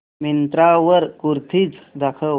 मिंत्रा वर कुर्तीझ दाखव